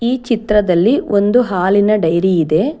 ಈ ಚಿತ್ರದಲ್ಲಿ ಒಂದು ಹಾಲಿನ ಡೈರಿ ಇದೆ.